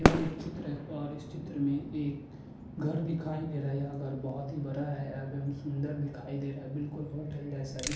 यह एक चित्र है और इस चित्र में एक घर दीखाई दे रहा है यह घर बहोत ही बरा है एवं सुंदर दीखाई दे रहा है बिलकुल हॉटेल जेसा इस --